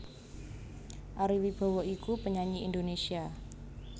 Arie Wibowo iku penyanyi Indonésia